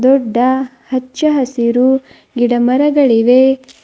ದೊಡ್ಡ ಹಚ್ಚ ಹಸಿರು ಗಿಡಮರ ಗಳಿವೆ.